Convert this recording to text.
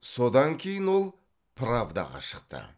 содан кейін ол правдаға шықты